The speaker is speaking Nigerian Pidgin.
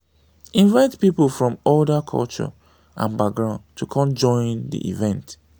invite pipo from other culture and background to come join di event